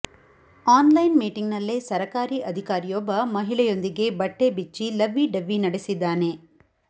on line meeting ನಲ್ಲೇ ಸರಕಾರಿ ಅಧಿಕಾರಿಯೊಬ್ಬ ಮಹಿಳೆಯೊಂದಿಗೆ ಬಟ್ಟೆ ಬಿಚ್ಚಿ ಲವ್ವಿ ಡವ್ವಿ ನಡೆಸಿದ್ದಾನೆ